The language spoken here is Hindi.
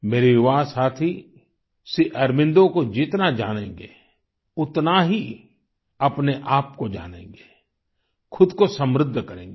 मेरे युवा साथी श्री अरबिंदो को जितना जानेंगें उतना ही अपने आप को जानेंगें खुद को समृद्ध करेंगें